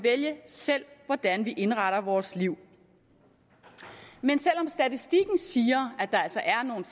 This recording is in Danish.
selv hvordan vi indretter vores liv men selv om statistikken siger at der altså er nogle